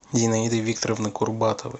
зинаиды викторовны курбатовой